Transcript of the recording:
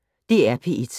DR P1